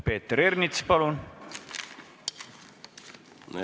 Peeter Ernits, palun!